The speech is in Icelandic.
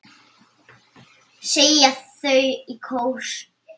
segja þau í kór.